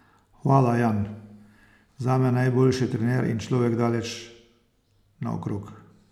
Hvala, Jan, zame najboljši trener in človek daleč naokrog.